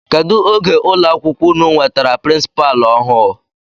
Kedụ oge ụlọ akwụkwọ unu nwetara pirinsipaalu ọhụụ?